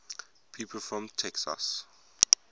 people from texas